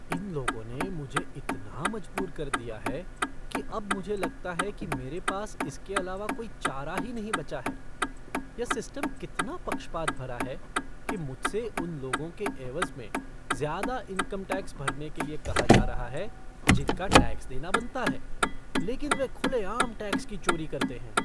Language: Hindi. इन लोगों ने मुझे इतना मजबूर कर दिया है कि अब मुझे लगता है कि मेरे पास इसके अलावा कोई चारा ही नहीं बचा है, यह सिस्टम कितना पक्षपात भरा है कि मुझसे उन लोगों के एवज़ में ज़्यादा इनकम टैक्स भरने के लिए कहा जा रहा है जिनका टैक्स देना बनता है, लेकिन वे खुलेआम टैक्स की चोरी करते हैं।